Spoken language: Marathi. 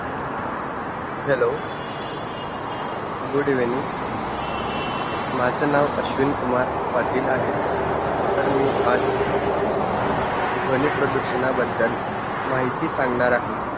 hello good evening माझ नाव आश्विन कुमार पटील आहे, तर मी आज ध्वनी प्रदूषणाबद्दल माहिती सांगणार आहे